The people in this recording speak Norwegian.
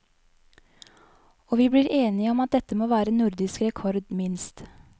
Og vi blir enige om at dette må være nordisk rekord, minst.